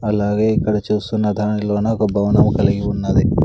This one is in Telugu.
అలాగే ఇక్కడ చూస్తున్న దానిలోన ఒక భవనము కలిగి ఉన్నది.